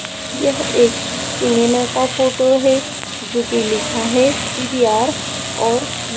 यह एक सिनेमा का फोटो है जो कि लिखा है पी_वी_आर और--